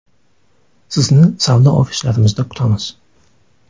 Sizni savdo ofislarimizda kutamiz.